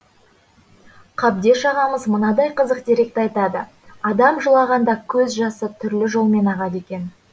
қабдеш ағамыз мынадай қызық деректі айтады адам жылағанда көз жасы түрлі жолмен ағады екен